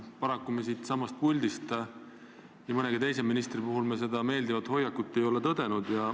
Paraku pole me seda nii mõnegi teise ministri puhul kogenud.